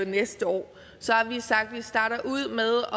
næste år har vi sagt at vi starter ud